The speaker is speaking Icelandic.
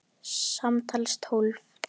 Samtals tólf.